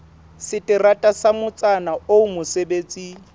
seterata sa motsana oo mosebetsi